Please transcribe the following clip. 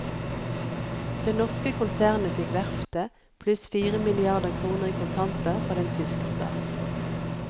Det norske konsernet fikk verftet, pluss fire milliarder kroner i kontanter fra den tyske stat.